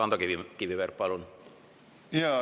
Ando Kiviberg, palun!